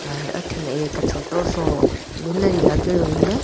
हेर अठीन एक छोटो सो लागयोड़ो इंके।